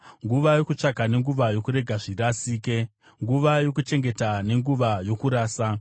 nguva yokutsvaka nenguva yokurega zvirasike, nguva yokuchengeta nenguva yokurasa;